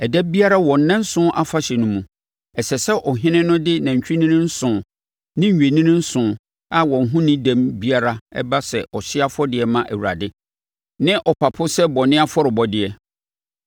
Ɛda biara wɔ nnanson Afahyɛ no mu, ɛsɛ sɛ ɔhene no de nantwinini nson ne nnwennini nson a wɔn ho nni dɛm biara ba sɛ ɔhyeɛ afɔrebɔdeɛ ma Awurade, ne ɔpapo sɛ bɔne afɔrebɔdeɛ.